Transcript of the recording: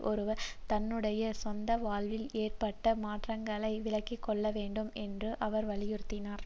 ஒருவர் தன்னுடைய சொந்த வாழ்வில் ஏற்பட்ட மாற்றங்களை விளங்கிக்கொள்ளவேண்டும் என்று அவர் வலியுறுத்தினார்